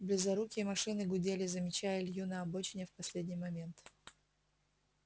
близорукие машины гудели замечая илью на обочине в последний момент